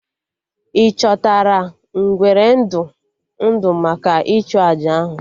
Ị chọtara ngwere ndụ ndụ maka ịchụ àjà ahụ?